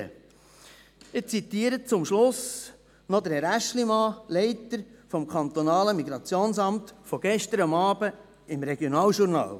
Ich zitiere zum Schluss noch Herrn Aeschlimann, Leiter des Amtes für Migration und Personenstand (MIP), von gestern Abend im Regionaljournal: